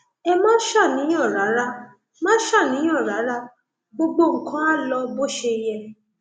ẹ má ṣàníyàn rárá má ṣàníyàn rárá gbogbo nǹkan á lọ bó ṣe yẹ